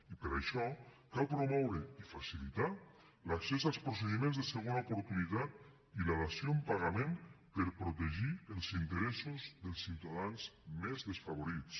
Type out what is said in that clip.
i per això cal promoure i facilitar l’accés als procediments de segona oportunitat i la dació en pagament per protegir els interessos dels ciutadans més desfavorits